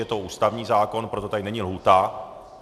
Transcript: Je to ústavní zákon, proto tady není lhůta.